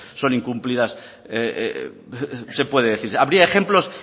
son incumplidas se puede decir habría ejemplos